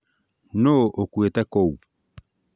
Nũũ ũkuĩte kũu?